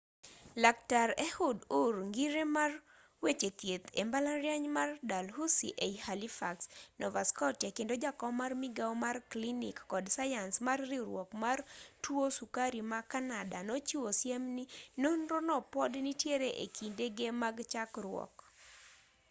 laktar ehud ur ngire mar weche thieth e mbalariany mar dalhousie ei halifax nova scottia kendo jakom mar migao mar klinik kod sayans mar riwruok mar tuo sukari ma kanada nochiwo siem ni nonro no pod nitiere e kindege mag chakruok